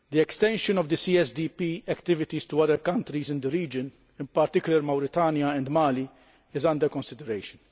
Extension of the CSDP activities to other countries in the region, in particular Mauritania and Mali, is under consideration.